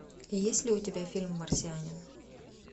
есть ли у тебя фильм марсианин